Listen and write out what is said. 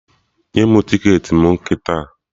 Nye mụ ticketị m kịta!